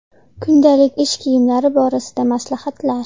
Kundalik ish kiyimlari borasida maslahatlar.